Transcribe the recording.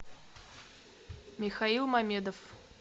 михаил мамедов